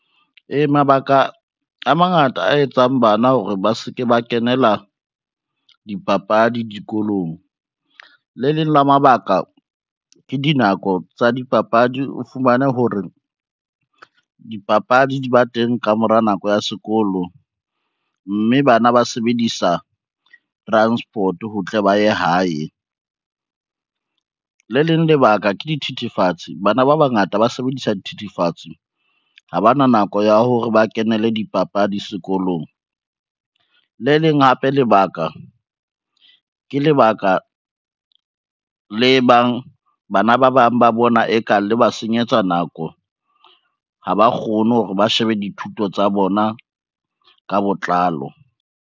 Ee, mabaka a mangata a etsang bana hore ba se ke ba kenela dipapadi dikolong. Le leng la mabaka, ke dinako tsa dipapadi o fumane hore dipapadi di ba teng ka mora nako ya sekolo, mme bana ba sebedisa transport ho tle ba ye hae. Le leng lebaka ke dithethefatsi, bana ba bangata ba sebedisa dithethefatsi ha bana nako ya hore ba kenele dipapadi sekolong. Le leng hape lebaka, ke lebaka le bang bana ba bang ba bona e kang le ba senyetsa nako ha ba kgone hore ba shebe dithuto tsa bona ka botlalo.